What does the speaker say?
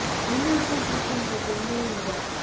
மின்னல்பூ பூக்கின்ற பெண்ணே இந்த